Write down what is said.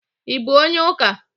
I bụ onye ụka?